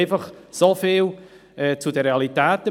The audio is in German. Soviel zu den Realitäten.